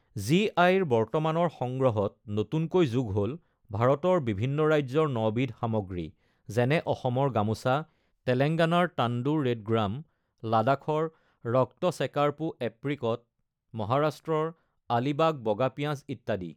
GI ৰ বৰ্তমানৰ সংগ্ৰহত নতুনকৈ যোগ হ'ল ভাৰতৰ বিভিন্ন ৰাজ্যৰ ৯ বিধ সামগ্ৰী যেনে অসমৰ গামোচা, তেলেংগানাৰ তাণ্ডুৰ ৰেডগ্ৰাম, লাডাখৰ ৰক্তছেকাৰ্পো এপ্ৰিকট, মহাৰাষ্ট্ৰৰ আলিবাগ বগা পিঁয়াজ ইত্যাদি।